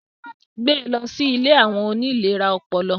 Gbẹ lọ si ìlé awọn oni ìléra ọpọlọ